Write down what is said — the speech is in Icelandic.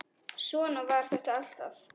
Svona var þetta alltaf.